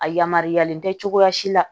A yamaruyalen tɛ cogoya si la